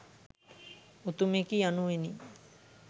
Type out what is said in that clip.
උතුමෙකි යනුවෙනි.